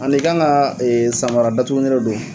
An'i kan ka samara datugulen dɔ don